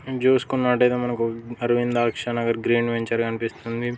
ఇది చూసుకున్నట్లయితే మనకు అరవింద్దాక్ష నగర్ గ్రీన్ వెంచర్ కనిపిస్తుంది.